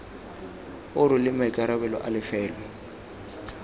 o rweleng maikarabelo a lefelo